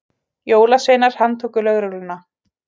Jólasveinar handtóku lögregluna